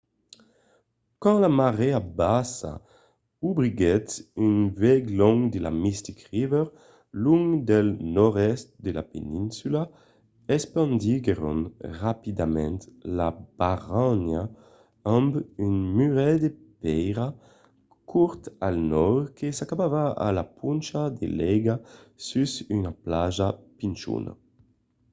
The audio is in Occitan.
quand la marèa bassa obriguèt un vuèg long de la mystic river long del nòrd-èst de la peninsula espandiguèron rapidament la barranha amb un muret de pèira cort al nòrd que s'acabava a la poncha de l'aiga sus una plaja pichona